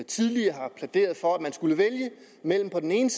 tidligere plæderede for at man skulle vælge mellem på den ene